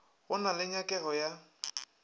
go na le nyakego ya